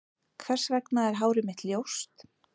Hvers vegna er hárið mitt ljóst?